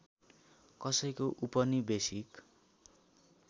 कसैको उपनिवेशिक